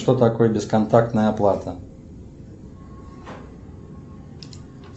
что такое бесконтактная оплата